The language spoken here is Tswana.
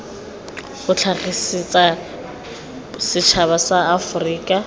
o tlhagisetsa setšhaba sa aforika